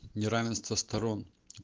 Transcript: неравенство сторон